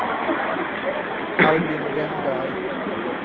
Albin Wennberg